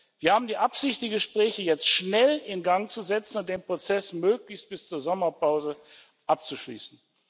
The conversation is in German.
Wir haben die Absicht, die Gespräche jetzt schnell in Gang zu setzen und den Prozess möglichst bis zur Sommerpause abzuschließen.